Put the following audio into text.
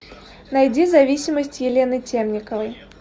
найди зависимость елены темниковой